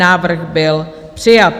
Návrh byl přijat.